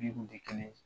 kun tɛ kelen ye